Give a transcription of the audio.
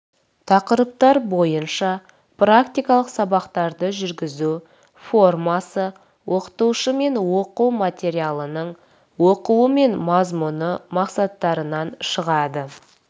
тақырыптар бойынша практикалық сабақтарды жүргізу формасы оқытушымен оқу материалының оқуы мен мазмұны мақсаттарынан шығады